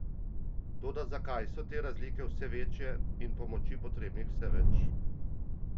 Toda zakaj so te razlike vse večje in pomoči potrebnih vse več?